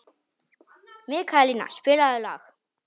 Mikaelína, spilaðu lag.